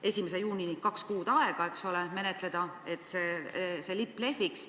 1. juunini on kaks kuud aega, et menetleda, et see lipp lehviks.